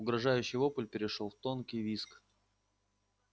угрожающий вопль перешёл в тонкий визг